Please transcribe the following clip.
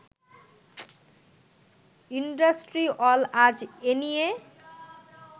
IndustriALL আজ এনিয়ে